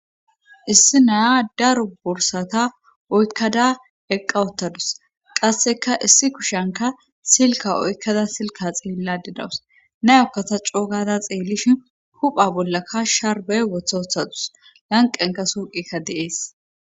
Issi naya daru bursata oykkada eqqawottadus qasseka issi kushanka silka oykkada silka xeelladidawus nayokkata coogada xeellishin hupha bollakka sharbey wothoothadus yanqenka suuqikka deees.